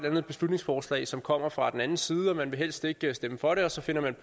andet beslutningsforslag som kommer fra den anden side og man vil helst ikke stemme for det og så finder man